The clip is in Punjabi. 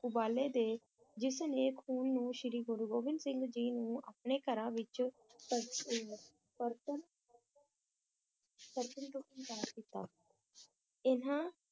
ਉਬਾਲੇ ਦੇ ਜਿਸਨੇ ਖੂਨ ਨੂੰ ਸ਼੍ਰੀ ਗੁਰੂ ਗੋਬਿੰਦ ਸਿੰਘ ਜੀ ਨੂੰ ਆਪਣੇ ਘਰਾਂ ਵਿਚ ਪਰਤਣ ਪਰਤਣ ਤੋਂ ਇਨਕਾਰ ਕੀਤਾ ਇਨ੍ਹਾਂ